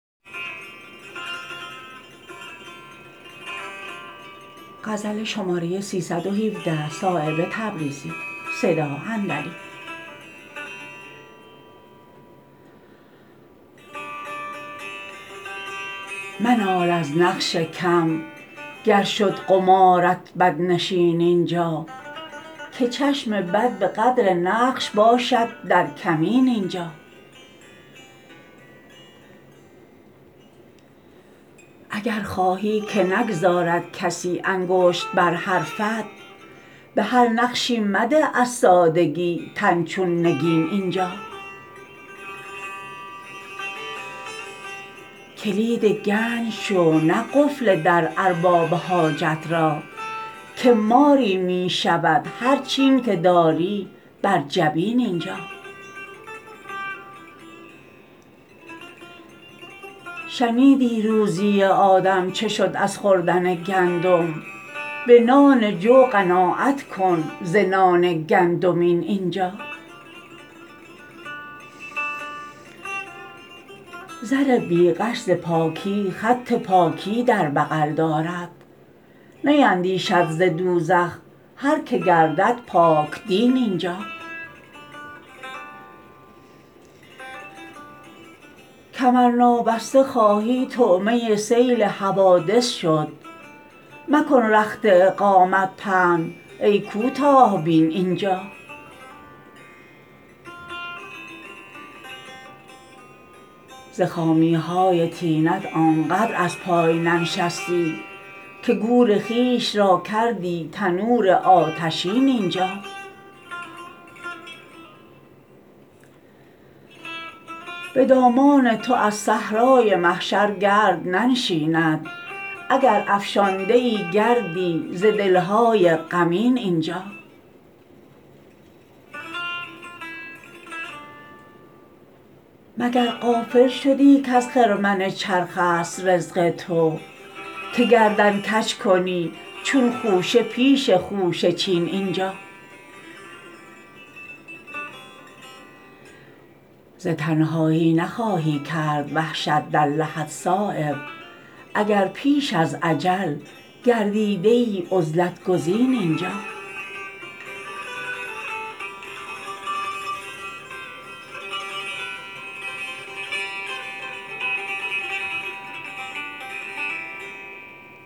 منال از نقش کم گر شد قمارت بدنشین اینجا که چشم بد به قدر نقش باشد در کمین اینجا اگر خواهی که نگذارد کسی انگشت بر حرفت به هر نقشی مده از سادگی تن چون نگین اینجا کلید گنج شو نه قفل در ارباب حاجت را که ماری می شود هر چین که داری بر جبین اینجا شنیدی روزی آدم چه شد از خوردن گندم به نان جو قناعت کن ز نان گندمین اینجا زر بی غش ز پاکی خط پاکی در بغل دارد نیندیشد ز دوزخ هر که گردد پاک دین اینجا کمر نابسته خواهی طعمه سیل حوادث شد مکن رخت اقامت پهن ای کوتاه بین اینجا ز خامی های طینت آن قدر از پای ننشستی که گور خویش را کردی تنور آتشین اینجا به دامان تو از صحرای محشر گرد ننشیند اگر افشانده ای گردی ز دل های غمین اینجا مگر غافل شدی کز خرمن چرخ است رزق تو که گردن کج کنی چون خوشه پیش خوشه چین اینجا ز تنهایی نخواهی کرد وحشت در لحد صایب اگر پیش از اجل گردیده ای عزلت گزین اینجا